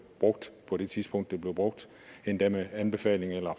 brugt på det tidspunkt det blev brugt endda med anbefaling eller